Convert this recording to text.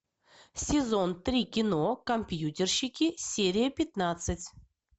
сезон три кино компьютерщики серия пятнадцать